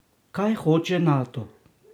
Kaj hoče Nato?